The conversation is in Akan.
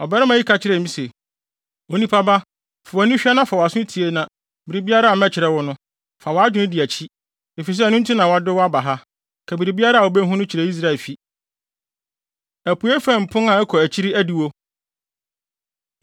Ɔbarima yi ka kyerɛɛ me se, “Onipa ba, fa wʼani hwɛ na fa wʼaso tie na biribiara a mɛkyerɛ wo no, fa wʼadwene di akyi, efisɛ ɛno nti na wɔde wo aba ha. Ka biribiara a wubehu no kyerɛ Israelfi.” Apuei Fam Pon A Ɛkɔ Akyiri Adiwo